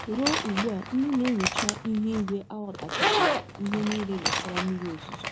Ruo ugbu a, ndị na - enyocha ihu ígwé aghọtachabeghị ihe niile gbasara mmiri ozuzo.